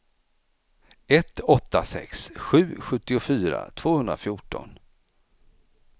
ett åtta sex sju sjuttiofyra tvåhundrafjorton